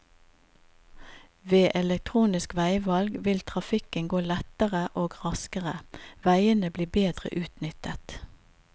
Ved elektronisk veivalg vil trafikken gå lettere og raskere, veiene blir bedre utnyttet.